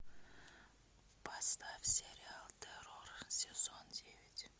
поставь сериал террор сезон девять